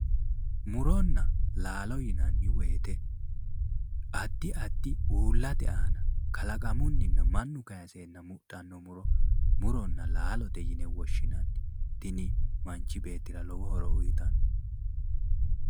Muronna laalo yinanni woyte addi addi uuullate aana kalaqamunninna mannu kaayiseenna mudhannota muronna laalote yine woshshinanni, tini manchi beettira lowo horo uytanno.